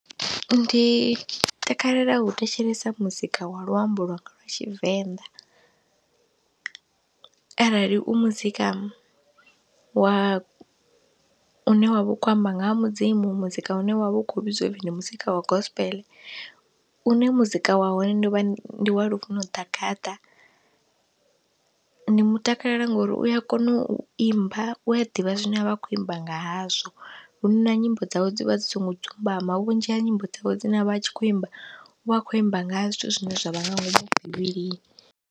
Ndi takalela u thetshelesa muzika wa luambo lwanga lwa Tshivenḓa, arali u muzika wa, une wa vha u khou amba nga ha Mudzimu, muzika une wa vha u khou vhidziwa upfhi ndi muzika wa gospel une muzika wa hone ndi wa ndi wa Lufuno Ḓagaḓa, ndi mutakalela ngori u a kona u imba, u a ḓivha zwine a vha a khou imba nga hazwo, hu na nyimbo dzawe dzi vha dzi songo dzumbama, vhunzhi ha nyimbo dzawe dzine a vha a tshi khou imba u vha a khou imba nga zwithu zwine zwa vha nga ngomu bivhilini.